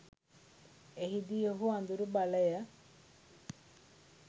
එහිදී ඔහු අඳුරු බලය